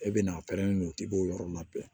E bɛna a pɛrɛn don k'i b'o yɔrɔ labɛn